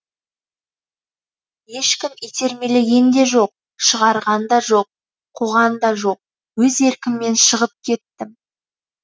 ешкім итермелеген де жоқ шығарған да жоқ қуған да жоқ өз еркіммен шығып кеттім